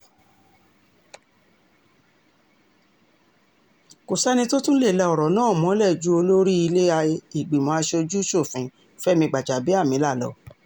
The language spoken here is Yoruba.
kò sẹ́ni tó tún lè la ọ̀rọ̀ náà mọ́lẹ̀ ju olórí ilé-ìgbìmọ̀ asojú-ṣòfin fẹmi gbàjàbíàmílà lọ